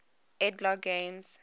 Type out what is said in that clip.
ed logg games